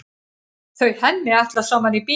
Þau Hemmi ætla saman í bíó.